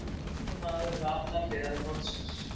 Sami maður við allar hliðar borðsins